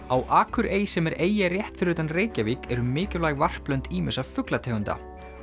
á Akurey sem er eyja rétt fyrir utan Reykjavík eru mikilvæg varplönd ýmissa fuglategunda